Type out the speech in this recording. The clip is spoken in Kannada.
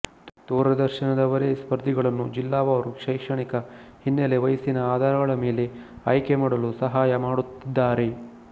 ದೂರದರ್ಶನದವರೇ ಸ್ಪರ್ಧಿಗಳನ್ನು ಜಿಲ್ಲಾವಾರು ಶೈಕ್ಷಣಿಕ ಹಿನ್ನೆಲೆ ವಯಸ್ಸಿನ ಆಧಾರಗಳ ಮೇಲೆ ಆಯ್ಕೆಮಾಡಲು ಸಹಾಯಮಾಡುತ್ತಿದ್ದಾರೆ